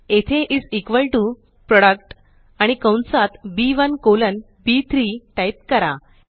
येथे is equal to product आणि कंसात बी1 कोलनB3 टाइप करा